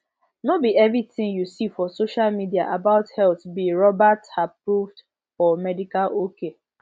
no be everything you see for social media about health be roberthapproved or medical ok